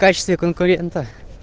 в качестве конкурента